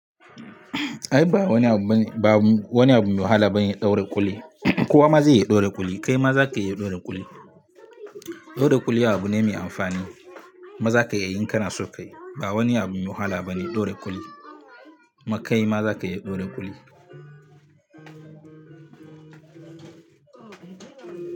Ai ba wani abu bane, ba wani abu mai wahala bane ɗaura kuli. Kowa ma zai iya ɗaura kuli, kai ma za ka iya ɗaura kuli. Ɗaura kuli abu ne mai amfani, ma za ka iya yin kana son kai. Ba wani abu mai wahala bane ɗaura kuɗi. Ma kai ma za ka iya ɗaura kuli.